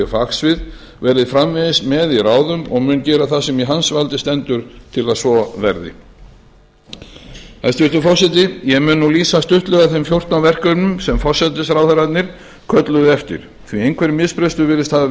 fagsvið verði framvegis með í ráðum og mun gera það sem í hans valdi stendur til að svo verði ég mun nú lýsa stuttlega þeim fjórtán verkefnum sem forsætisráðherrarnir kölluðu eftir því einhver misbrestur virðist hafa